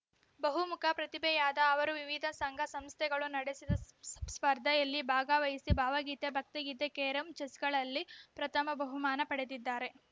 ಬಹುಮುಖ ಪ್ರತಿಭೆಯಾದ ಅವರು ವಿವಿಧ ಸಂಘಸಂಸ್ಥೆಗಳು ನಡೆಸಿದ ಸ್ಪ ಸ್ಪರ್ಧೆಯಲ್ಲಿ ಭಾಗವಹಿಸಿ ಭಾವಗೀತೆ ಭಕ್ತಿಗೀತೆ ಕೇರಂ ಚೆಸ್‌ಗಳಲ್ಲಿ ಪ್ರಥಮ ಬಹುಮಾನ ಪಡೆದಿದ್ದಾರೆ